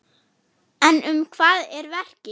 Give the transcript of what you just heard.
En um hvað er verkið?